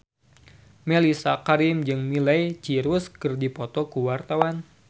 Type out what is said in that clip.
Mellisa Karim jeung Miley Cyrus keur dipoto ku wartawan